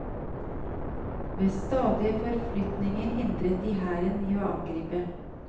Ved stadige forflytninger hindret de hæren i å angripe.